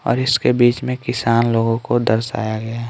और इसके बीच में किसान लोगों को दर्शाया गया--